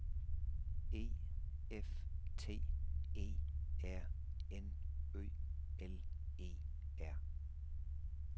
E F T E R N Ø L E R